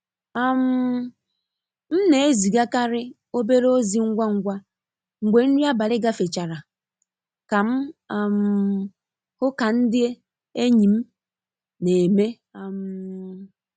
um M n'ezigakarị obere ozi ngwa ngwa mgbe nri abalị gafechara ka m um hụ ka nde enyi m n'eme. um